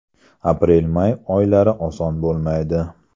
Aprel-may oylari oson bo‘lmaydi.